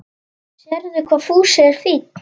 Sérðu hvað Fúsi er fínn?